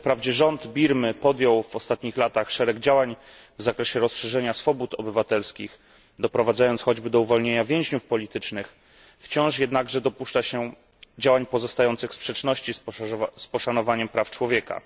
Wprawdzie rząd Birmy podjął w ostatnich latach szereg działań w zakresie rozszerzenia swobód obywatelskich, doprowadzając choćby do uwolnienia więźniów politycznych, to wciąż jednak dopuszcza się działań pozostających w sprzeczności z poszanowaniem praw człowieka.